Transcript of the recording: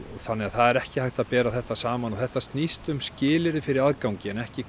þannig að það er ekki hægt að bera þetta saman og þetta snýst um skilyrði fyrir aðgangi en ekki